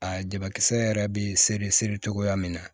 A jabakisɛ yɛrɛ bɛ seri seri cogoya min na